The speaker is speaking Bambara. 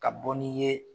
Ka bɔ ni ye